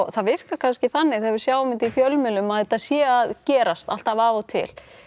það virkar kannski þannig þegar við sjáum þetta í fjölmiðlum að þetta sé að gerast alltaf af og til